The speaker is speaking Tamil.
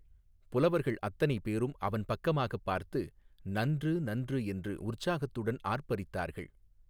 புலவர்கள் அத்தனைபேரும் அவன் பக்கமாகப் பார்த்து நன்று நன்று என்று உற்சாகத்துடன் ஆர்ப்பரித்தார்கள்.